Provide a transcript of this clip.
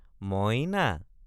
মই—না!